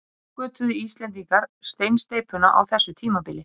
Svo uppgötvuðu Íslendingar steinsteypuna á þessu tímabili.